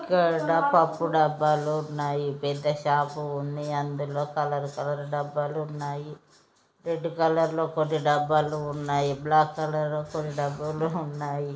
ఇక్కడా పప్పు డబ్బా లు ఉన్నాయి పెద్ద షాప్ ఉన్ని అందులో కలర్ కలర్ డబ్బాలు వున్నాయి రెడ్ కలర్ లో కొన్ని డబ్బాలు వున్నాయి బ్లాక్ కలర్ కొన్ని డబ్బాలు వున్నాయి.